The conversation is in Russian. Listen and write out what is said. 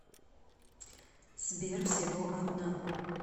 сбер всего одна